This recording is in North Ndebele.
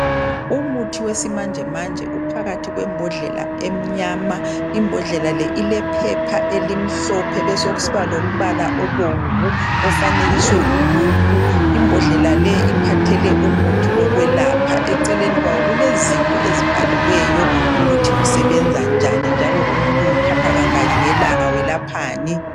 Umuthi wesimanje manje uphakathi kwembodlela emnyama imbodlela le ilephepha elimhlophe kube sokusiba lombala obomvu ofanekiswe umuntu imbodlela le iphethe umuthi wokwelapha eceleni kwawo kulezinto ezibhaliweyo ukuthi usebenza njani njalo umuntu uwuthatha kangaki ngelanga welaphani